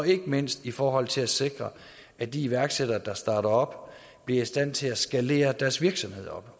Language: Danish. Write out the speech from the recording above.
ikke mindst i forhold til at sikre at de iværksættere der starter op bliver i stand til at skalere deres virksomhed op